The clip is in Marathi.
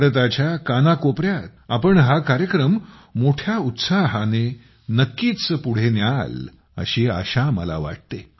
भारताच्या कानाकोपऱ्यात तुम्ही हा कार्यक्रम मोठ्या उत्साहाने नक्कीच पुढे न्याल अशी आशा मला वाटते